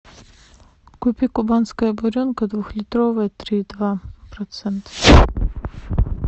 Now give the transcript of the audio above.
купи кубанская буренка двухлитровое три и два процента